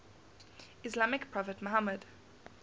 islamic prophet muhammad